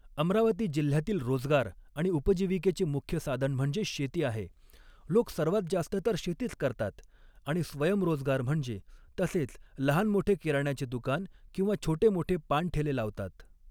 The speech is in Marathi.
अमरावती जिल्ह्यातील रोजगार आणि उपजीविकेचे मुख्य साधन म्हणजे शेती आहे लोक सर्वात जास्त तर शेतीच करतात आणि स्वयंरोजगार म्हणजे तसेच लहान मोठे किराण्याचे दुकान किंवा छोटे मोठे पानठेले लावतात